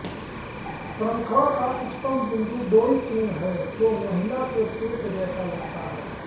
श्रंखला का उच्चतम बिंदु डोई तुंग है जो महिला के पेट जैसे लगता है